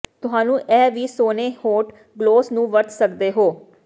ਤੁਹਾਨੂੰ ਇਹ ਵੀ ਸੋਨੇ ਹੋਠ ਗਲੌਸ ਨੂੰ ਵਰਤ ਸਕਦੇ ਹੋ